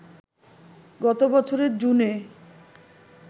গত বছরের জুনে